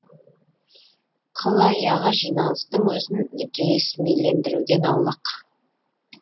қыл аяғы жиналыстың өзін ресмилендіруден аулақ